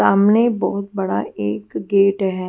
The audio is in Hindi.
सामने बहुत बड़ा एक गेट है।